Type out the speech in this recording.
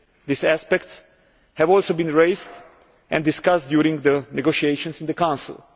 These aspects have also been raised and discussed during the negotiations in the Council.